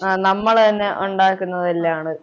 ആഹ് നമ്മളുതന്നെ ഉണ്ടാക്കുന്നതല്ലാണ്